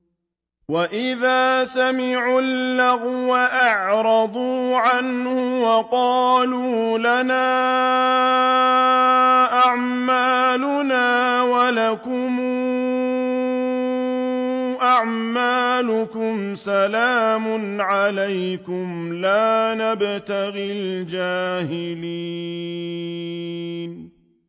وَإِذَا سَمِعُوا اللَّغْوَ أَعْرَضُوا عَنْهُ وَقَالُوا لَنَا أَعْمَالُنَا وَلَكُمْ أَعْمَالُكُمْ سَلَامٌ عَلَيْكُمْ لَا نَبْتَغِي الْجَاهِلِينَ